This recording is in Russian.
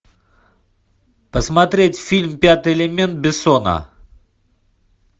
посмотреть фильм пятый элемент бессона